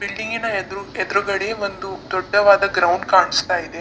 Building ನ ಎದುರು ಎದುರುಗಡೆ ಒಂದು ದೊಡ್ಡವಾದ ಒಂದು ಗ್ರೌಂಡ್ ಕಾಣಿಸ್ತಾ ಇದೆ.